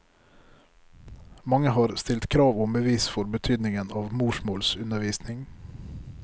Mange har stilt krav om bevis for betydningen av morsmålsundervisning.